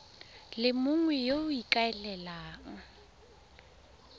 le mongwe yo o ikaelelang